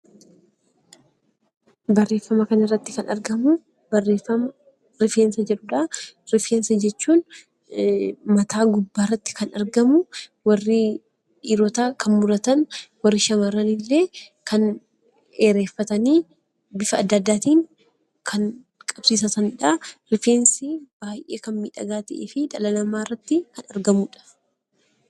Barreeffama kana irratti kan argamu, barreeffama rifeensa jedhudha. Rifeensa jechuun mataa gubbaatti kan argamu, warri dhiirotaa kan muratan, warri shamaarranii illee dheereffatanii bifa addaa addaatiin kan qabsiifatan jechuudha. Rifeensi baayyee kan miidhagaa ta'ee fi dhala namaa irraatti kan argamudha.